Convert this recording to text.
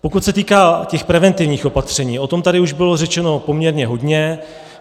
Pokud se týká těch preventivních opatření, o tom už tady bylo řečeno poměrně hodně.